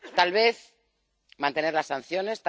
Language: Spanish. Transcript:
Tal vez, mantener las sanciones